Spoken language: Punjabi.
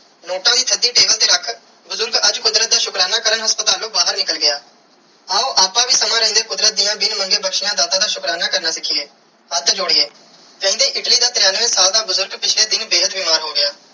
ਨੋਟ ਦੀ ਤੁਹਾਡੀ ਦਿਲ ਤੇ ਰੱਖ ਬੁਜ਼ਰਗ ਅੱਜ ਕੁਦਰਤ ਦਾ ਸ਼ੁਕਰਾਨਾ ਕਾਰਨ ਅੱਜ ਹਾਸਪ੍ਤਾਲੂ ਬਾਹਿਰ ਨਿਕਲ ਗਿਆ ਆਓ ਅੱਪਾ ਵੀ ਸਮੇ ਰੇਂਦੇ ਕੁਦਰਤ ਦੀਆ ਬਿਨ ਮੰਗੇ ਬਖਸ਼ਿਆ ਦਾਤਾ ਦਾ ਸ਼ੁਕਰਾਨਾ ਕਰਨਾ ਪਿੱਛੇ ਕੱਟ ਲੋੜੀਏ ਜਾਂਦੀ ਇਟਲੀ ਦਾ ਤੇਰੀਆਂਵੇ ਸਾਲ ਦਾ ਬੁਜ਼ਰਾਹ ਪਿਛਲੇ ਦਿਨ ਬੇਹੱਦ ਬਿਮਾਰ ਹੋ ਗਿਆ.